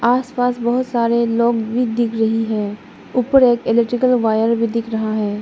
आसपास बहुत सारे लोग भी दिख रहे है ऊपर एक इलेक्ट्रिकल वायर भी दिख रहा है।